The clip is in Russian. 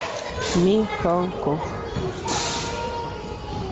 михалков